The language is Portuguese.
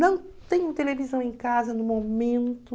Não tenho televisão em casa no momento.